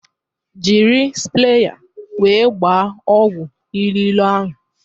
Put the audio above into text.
Jiri spreya wee gbaa ọgwụ iriro ahụ!